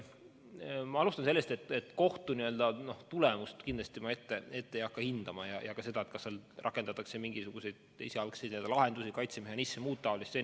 Ma alustan sellest, et kohtu tulemust kindlasti ma ette ei hakka ennustama ja ka seda, kas rakendatakse mingisuguseid esialgseid lahendusi, kaitsemehhanisme, muud taolist.